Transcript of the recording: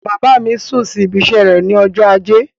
Bàbá mi sún sí ibiṣẹ́ rẹ̀ ní ọjọ́ ajé.